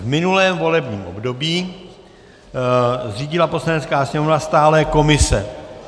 V minulém volebním období zřídila Poslanecká sněmovna stálé komise...